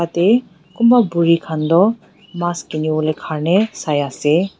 Yatheh kunba buri khan toh mass kinivole Karnae sai ase.